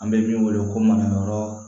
An bɛ min wele ko manayɔrɔ